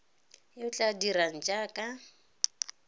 yo o tla dirang jaaka